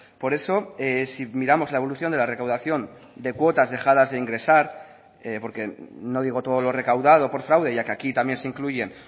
por eso si miramos la evolución de la recaudación de cuotas dejadas de ingresar porque no digo todo lo recaudado por fraude ya que aquí también se incluyen